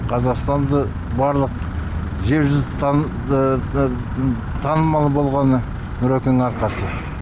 қазақстанды барлық жер жүзі таныды танымал болғаны нұрекеңнің арқасы